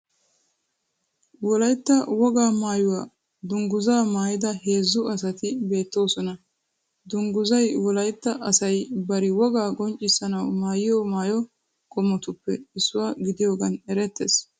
Wolayitta wogaa maayuwa dungguzaa maayida heezzu asati beettoosona. Dungguzay wolayitta asayi bari wogaa qonccissanawu maayiyo mayyo qommotuppe issuwa gidiyogan erettees.